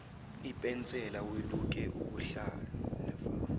ipensela weluke ubuhlalu